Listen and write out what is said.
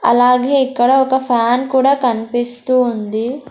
అలాగే ఇక్కడ ఒక ఫ్యాన్ కూడా కనిపిస్తూ ఉంది.